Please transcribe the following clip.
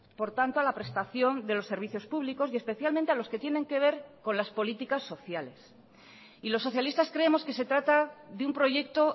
por tanto a la prestación de los servicios públicos y especialmente a los que tienen que ver con las políticas sociales y los socialistas creemos que se trata de un proyecto